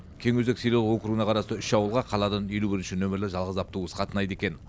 кеңөзек селолық округіне қарасты үш ауылға қаладан елу бірінші нөмірлі жалғыз автобус қатынайды екен